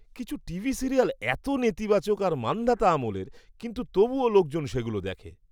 কিছু TV serial এত নেতিবাচক আর মান্ধাতা আমলের কিন্তু তবুও লোকজন সেগুলো দেখে!